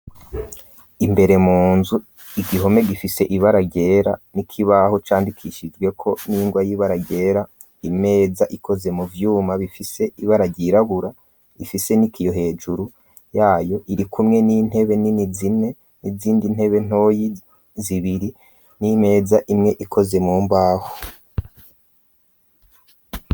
Imbere mu nzu igihome gifise ibara ryera n'ikibaho candikishijweko n'ingwa y'ibara ryera, imeza ikozwe mu vyuma bifise ibara ryirabura ifise n'ikiyo hejuru yayo, irikumwe n'intebe nini zine n'izindi ntebe ntoyi zibiri n'imeza imwe ikoze mu mbaho.